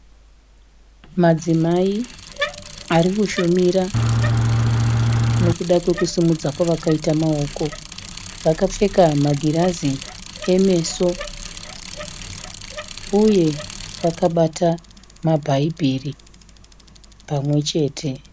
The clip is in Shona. Madzimai ari kushumira nokuda kwekusimudza kwavakaita maoko. Vakapfeka magirazi emeso uye vakabata mabhaibheri pamwe chete.